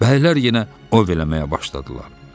Bəylər yenə ov eləməyə başladılar.